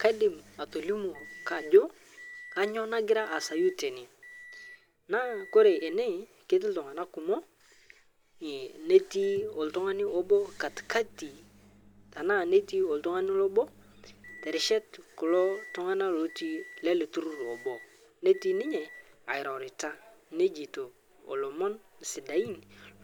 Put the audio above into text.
Kaidim atolimu kajo kainyo naigira aasayu tene naa koree ene keti ltung'ana kumo eh netii oltung'ani obo katikati tanaa neti oltang'ani lobo terishat kulo tung'ana lotii lale tururrlobo netii ninye airorita neijeto olomon sidain